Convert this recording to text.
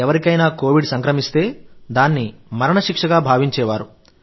ఎవరికైనా కోవిడ్ సంక్రమిస్తే దాన్ని మరణశిక్షగా భావించేవారు